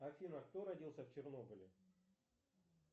афина кто родился в чернобыле